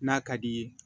N'a ka d'i ye